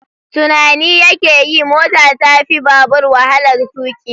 Tunani yake yi mota ta fi babur walahar tuƙi